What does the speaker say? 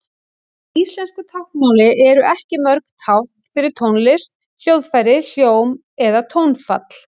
Í íslensku táknmáli eru ekki mörg tákn fyrir tónlist, hljóðfæri, hljóm eða tónfall.